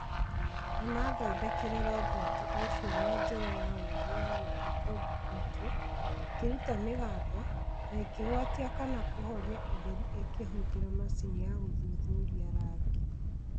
Nĩ maathondekire roboti ocio na njĩra ya ũũgĩ yagũthiĩ kũndũ kũingĩ, ikĩruta mĩgambo, na ikĩhwatia kana kũhoria ũtheri ikĩhũthĩra macini ya gũthuthuria rangi